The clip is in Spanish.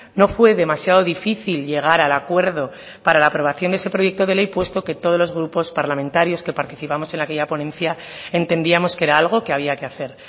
no fue demasiado difícil llegar al acuerdo para la aprobación de ese proyecto de ley puesto que todos los grupos parlamentarios que participamos en aquella ponencia entendíamos que era algo que había que hacer